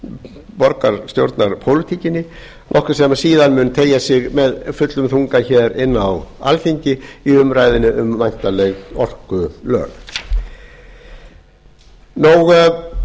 í borgarstjórnarpólitíkinni nokkuð sem síðan mun teygja sig með fullum þunga hér inn á alþingi í umræðunni um væntanleg orkulög það er nú